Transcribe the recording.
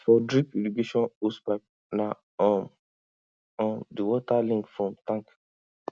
for drip irrigation hosepipe na um um the water link from tank